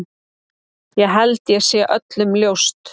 Það held ég sé öllum ljóst.